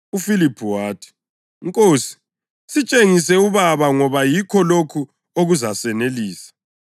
UFiliphu wathi, “Nkosi, sitshengise uBaba ngoba yikho lokho okuzasanelisa.”